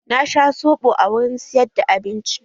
Na sha soɓo a wurin siyar da abinci.